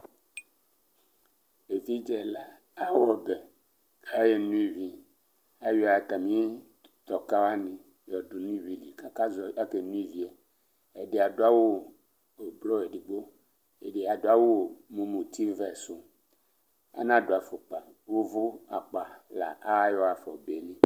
Evidze ɛla aɣa ɔbɛ, ayeno ivi Ayɔ atami tɔka wani yɔdʋ nʋ ivi li, akeno ivi Ɛdɩ adʋ awu ʋblɔ zdigbo, ɛdɩ adʋ awu mʋ mutivɛ sʋ Anadʋ afukpa Uvu akpa la ayɔ ɣafa ɔbɛ yɛ li